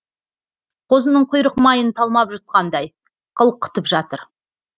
қозының құйрық майын талмап жұтқандай қылқытып жатыр